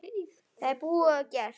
Það er búið og gert.